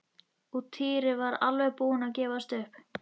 Og Týri var alveg búinn að gefast upp.